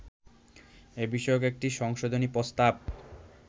এ বিষয়ক একটি সংশোধনী প্রস্তাব